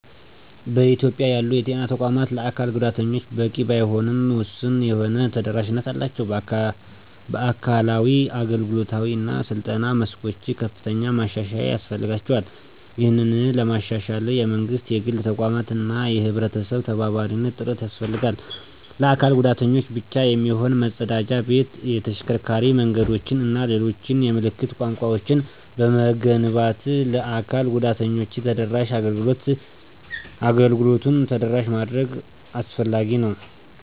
በኢትዮጵያ ያሉ የጤና ተቋማት ለአካል ጉዳተኞች በቂ ባይባልም ውሱን የሆነ ተደራሽነት አላቸው። በአካላዊ፣ አገልግሎታዊ እና ስልጠና መስኮች ከፍተኛ ማሻሻያ ያስፈልጋቸዋል። ይህንን ለማሻሻል የመንግስት፣ የግል ተቋማት እና የህብረተሰብ ተባባሪ ጥረት ያስፈልጋል። ለአካል ጉዳተኞች ብቻ የሚሆን መፀዳጃ ቤት፣ የተሽከርካሪ መንገዶችን እና ሌሎች የምልክት ቋንቋወችን በመገንባት ለ አካል ጉዳተኞች ተደራሽ አገልግሎቱን ተደራሽ ማድረግ አስፈላጊ ነው።